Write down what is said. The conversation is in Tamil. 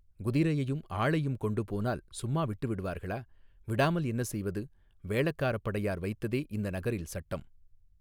குதிரையையும் ஆளையும் கொண்டு போனால் சும்மா விட்டு விடுவார்களா விடாமல் என்ன செய்வது வேளக்காரப் படையார் வைத்ததே இந்த நகரில் சட்டம்.